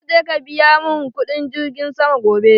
Za ka je ka biya mun kudin girgin sama gobe